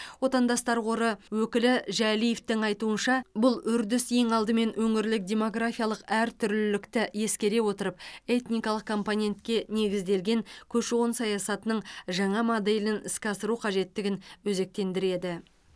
отандастар қоры өкілі жәлиевтің айтуынша бұл үрдіс ең алдымен өңірлік демографиялық әртүрлілікті ескере отырып этникалық компонентке негізделген көші қон саясатының жаңа моделін іске асыру қажеттігін өзектендіреді